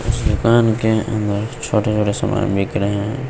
इस दुकान के अंदर छोटे छोटे समान बिखरे हैं।